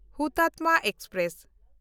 Hutatma express